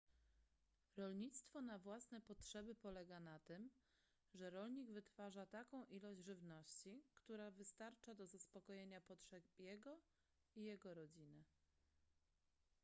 rolnictwo na własne potrzeby polega na tym że rolnik wytwarza taką ilość żywności która wystarcza do zaspokojenia potrzeb jego i jego rodziny